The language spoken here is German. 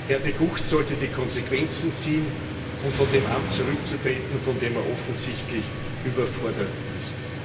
Herr De Gucht sollte die Konsequenzen ziehen und von dem Amt zurücktreten, von dem er offensichtlich überfordert ist.